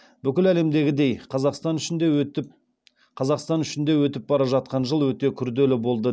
бүкіл әлемдегідей қазақстан үшін де өтіп бара жатқан жыл өте күрделі болды